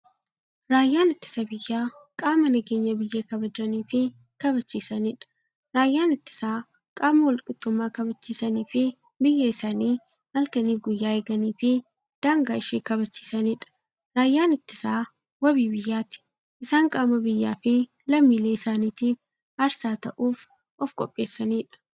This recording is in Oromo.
Raayyaan ittisa biyyaa qaama nageenya biyya kabajaniifi kabachiisaniidha. Raayyaan ittisaa qaama walqixxummaa kabachisaniifi biyyaa isaanii halkaniif guyyaa eeganiifi daangaa ishee kabachiisaniidha. Raayyaan ittisaa waabii biyyaati. Isaan qaama biyyaafi lammiilee isaanitiif aarsaa ta'uuf ofqopheessaniidha.